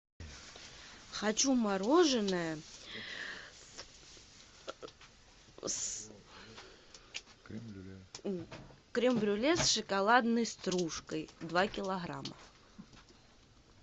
хочу мороженое с крем брюле с шоколадной стружкой два килограмма